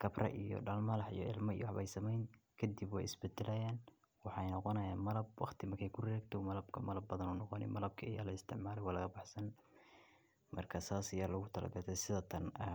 khabra iyo dhulmaal xayaya ilmo iyoba sameyn. Kadib wa isbitilaayan waxaan noqonaya malab. Waqti makay ku reegto malabka marlab badan un oqoni malabka ayaa la isticmaal waa laga fahsan. Marka saasi yar lagu talagalay sida tan ama.